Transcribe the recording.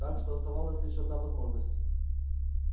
так что оставалась лишь одна возможность